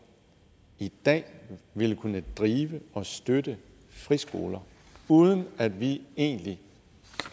i dag ville kunne drive og støtte friskoler uden at vi egentlig